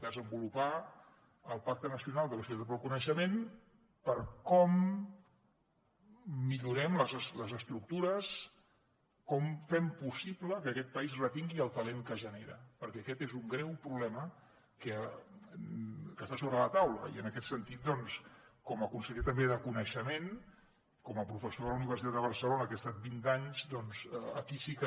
desenvolupar el pacte nacional per a la societat pel coneixement per com millorem les estructures com fem possible que aquest país retingui el talent que genera perquè aquest és un greu problema que està sobre la taula i en aquest sentit doncs com a conseller també de coneixement com a professor de la universitat de barcelona que he estat vint anys doncs aquí sí que